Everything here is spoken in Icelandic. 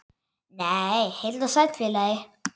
Nei, heill og sæll félagi!